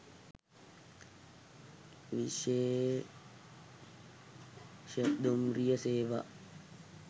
විශේෂ දුම්රිය සේවා